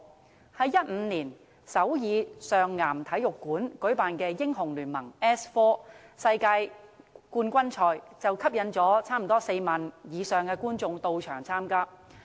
在2015年首爾上岩體育館舉辦的"英雄聯盟 "S4 世界冠軍賽，便吸引了超過4萬名觀眾到場。